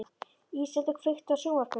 Íseldur, kveiktu á sjónvarpinu.